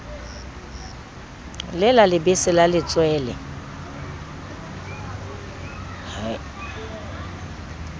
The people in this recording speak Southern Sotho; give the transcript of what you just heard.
le la lebese la letswele